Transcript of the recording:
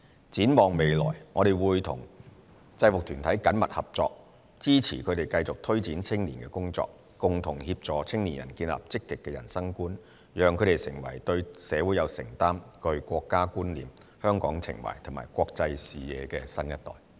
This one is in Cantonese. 展望未來，我們會與制服團體緊密合作，支持它們繼續推展青年工作，共同協助青年人建立積極的人生觀，讓他們成為對社會有承擔，具國家觀念、香港情懷和國際視野的新一代。